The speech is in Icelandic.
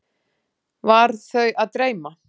Var þau að dreyma?